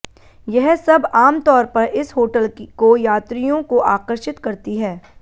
यह सब आम तौर पर इस होटल को यात्रियों को आकर्षित करती है